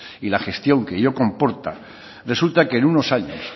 y la gestión que ello comporta resulta que en unos años